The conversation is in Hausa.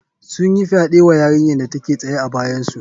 Sun yi fyaɗe wa yarinyar da take tsaye a bayansu